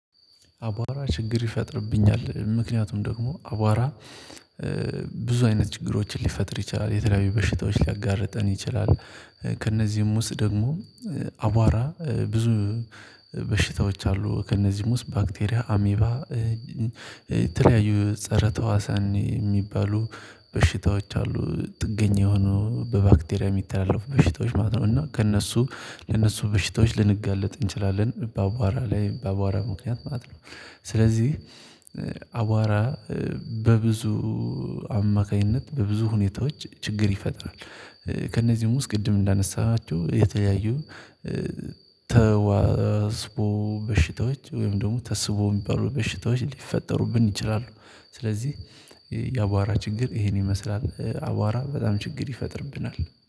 አቧራ ችግር ይፈጥርብኛል ምክንያቱም ደግሞ አቧራ ብዙ አይነት ችግሮችን ሊፈጥር ይችላል የተለያዩ በሽታዎች ሊያጋርጠን ይችላል። ከእነዚህም ውስጥ ደግሞ አቧራ ብዙ በሽታዎች አሉ ከእነዚህም ውስጥ ባክቴሪያ አሜባ የተለያዩ ፀረ ተዋሳን የሚባሉ በሽታዎች አሉ ጥገኛ የሆኑ በባክቴሪያ የሚተላለፉ በሽታዎች ማለት ነው። እና ከእነሱ ለእነሱ በሽታዎች ልንጋለጥ እንችላለን በአቧራ ላይ በአቧራ ምክንያት ማለት ነው። ስለዚህ አቧራ በብዙ አማካኝነት በብዙ ሁኔታዎች ችግር ይፈጥራል። ከእነዚህም ውስጥ ቅድም እንዳነሳናቸው የተለያዩ ተዋስቦ በሽታዎች ወይም ደግሞ ተስቦ የሚባሉ በሽታዎች ሊፈጠሩብን ይችላሉ። ስለዚህ የአቧራ ችግር ይሄን ይመስላል አቧራ በጣም ችግር ይፈጥርብናል